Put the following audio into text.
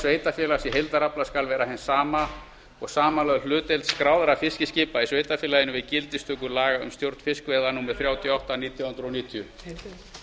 sveitarfélags í heildarafla skal vera hin sama og samanlögð hlutdeild skráðra fiskiskipa í sveitarfélaginu við gildistöku laga um stjórn fiskveiða númer þrjátíu og átta nítján hundruð níutíu